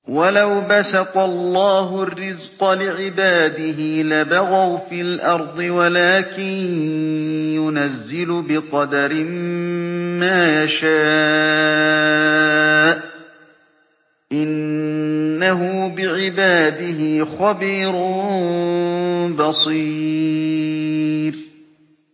۞ وَلَوْ بَسَطَ اللَّهُ الرِّزْقَ لِعِبَادِهِ لَبَغَوْا فِي الْأَرْضِ وَلَٰكِن يُنَزِّلُ بِقَدَرٍ مَّا يَشَاءُ ۚ إِنَّهُ بِعِبَادِهِ خَبِيرٌ بَصِيرٌ